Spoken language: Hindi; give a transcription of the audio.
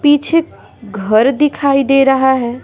पीछे घर दिखाई दे रहा है।